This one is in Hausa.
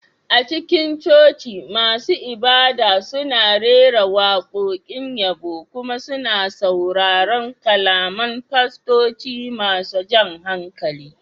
A cikin coci, masu ibada suna rera waƙoƙin yabo kuma suna sauraron kalaman fastoci masu jan hankali